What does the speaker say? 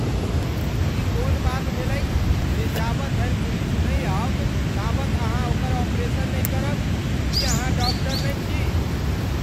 ई कोन बात भेलैक जे जाबत धरि पुलिस नहि आओत ताबत अहाँ ओकर ऑपरेशन नहि करब? की अहाँ डाक्टर नहि छी?